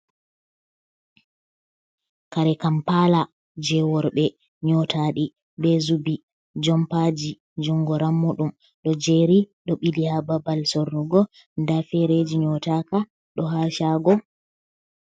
Kare kampala je worɓe nyotadi be zubi jompaji jungo rammudum. do jeri do bili ha babal sorrugo da fereji nyotaka do hashago.